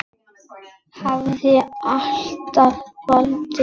Hafði alltaf haldið.